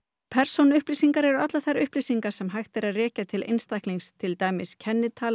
persónuupplýsingar eru allar þær upplýsingar sem hægt er að rekja til einstaklings til dæmis kennitala